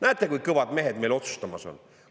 Näete, kui kõvad mehed meil otsustamas on!?